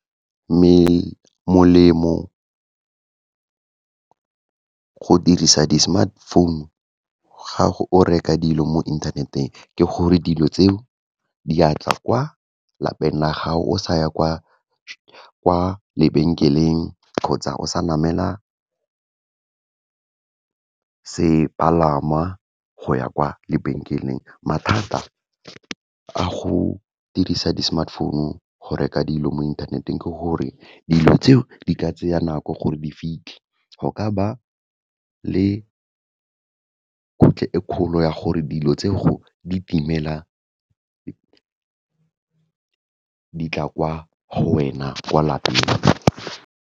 Molemo, go dirisa di-smartphone-u, ga go reka dilo mo inthaneteng, ke gore dilo tseo diatla kwa lapeng la gago, o sa ya kwa lebenkeleng kgotsa o sa namela sepalamwa go ya kwa lebenkeleng. Mathata a go dirisa di-smartphone-u go reka dilo mo inthaneteng, ke gore dilo tseo di ka tseya nako gore di fitlhe, go ka ba le e kgolo ya gore dilo tse go di timela ditla kwa go wena, kwa lapeng.